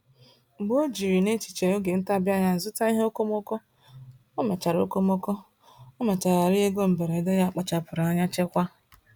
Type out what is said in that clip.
Mgbe o jiri n’echiche oge ntabi anya zụta ihe okomoko, ọ mechara okomoko, ọ mechara rie ego mberede ya kpachapụrụ anya chekwaa.